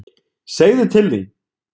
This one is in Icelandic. Segðu til þín!